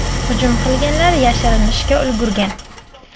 Hujum qilganlar yashirinishga ulgurgan.